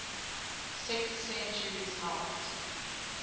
sixth centuries helped